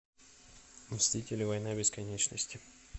мстители война бесконечности